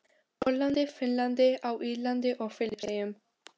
Póllandi, Finnlandi, á Írlandi og Filippseyjum.